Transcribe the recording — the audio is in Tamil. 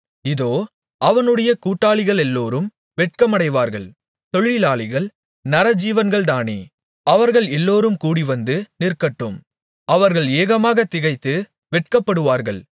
இதோ அவனுடைய கூட்டாளிகளெல்லோரும் வெட்கமடைவார்கள் தொழிலாளிகள் நரஜீவன்கள்தானே அவர்கள் எல்லோரும் கூடிவந்து நிற்கட்டும் அவர்கள் ஏகமாகத் திகைத்து வெட்கப்படுவார்கள்